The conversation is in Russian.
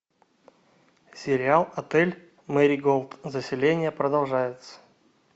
сериал отель мэриголд заселение продолжается